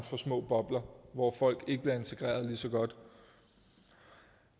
for små bobler hvor folk ikke bliver integreret lige så godt